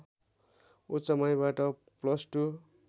उच्च माविबाट plus to